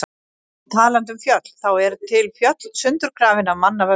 Og talandi um fjöll, þá eru til fjöll sundurgrafin af manna völdum.